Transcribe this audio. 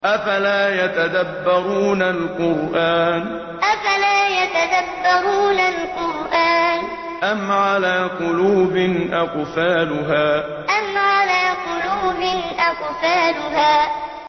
أَفَلَا يَتَدَبَّرُونَ الْقُرْآنَ أَمْ عَلَىٰ قُلُوبٍ أَقْفَالُهَا أَفَلَا يَتَدَبَّرُونَ الْقُرْآنَ أَمْ عَلَىٰ قُلُوبٍ أَقْفَالُهَا